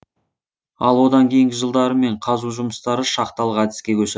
ал одан кейінгі жылдары кен қазу жұмыстары шахталық әдіске көшір